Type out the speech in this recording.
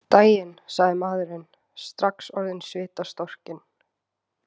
Daginn, sagði maðurinn, strax orðinn svitastorkinn.